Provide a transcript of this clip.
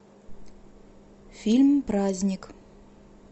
фильм праздник